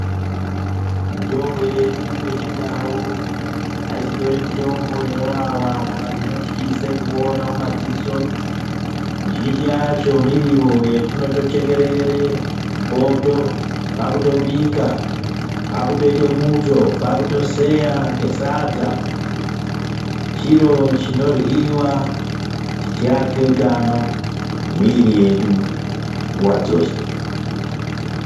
Mitombo yedu yechindau aisindori mitombo inowawa kana kuti inotyisa kuona madziso mizhinji miriwo yetinotochekerere mupoto kwakutobika, kwakutoite muto kwakutoseya ngesadza, chiro chinoryiwa chichiake utano yemwiri yedu nguwa dzeshe.